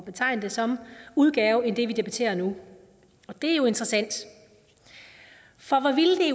betegne det som udgave end det vi debatterer nu og det er jo interessant for